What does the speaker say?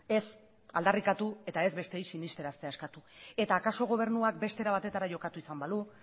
ez aldarrikatu eta ez besteei sinisteraztea eskatu eta akaso gobernuak beste era batetara jokatu izan balu